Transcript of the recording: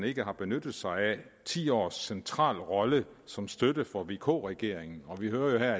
ikke har benyttet sig af ti års central rolle som støtte for vk regeringen og vi hører